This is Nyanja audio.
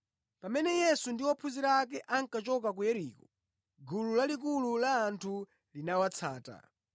Pamene Yesu ndi ophunzira ake ankachoka ku Yeriko, gulu lalikulu la anthu linawatsata.